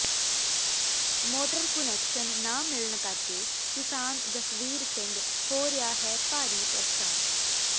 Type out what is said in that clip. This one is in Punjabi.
ਮੋਟਰ ਕੁਨੈਕਸ਼ਨ ਨਾ ਮਿਲਣ ਕਰਕੇ ਕਿਸਾਨ ਜਸਵੀਰ ਸਿੰਘ ਹੋ ਰਿਹਾ ਹੈ ਭਾਰੀ ਪ੍ਰੇਸ਼ਾਨ